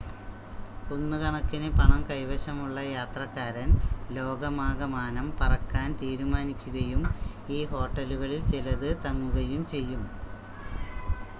കുന്നുകണക്കിന് പണം കൈവശമുള്ള യാത്രക്കാരൻ ലോകമാകമാനം പറക്കാൻ തീരുമാനിക്കുകയും ഈ ഹോട്ടലുകളിൽ ചിലത് തങ്ങുകയും ചെയ്യും